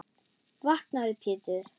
Vaknaðu Pétur.